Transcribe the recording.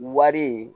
Wari